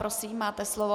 Prosím, máte slovo.